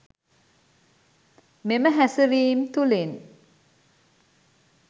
මෙම හැසිරීම් තුළින්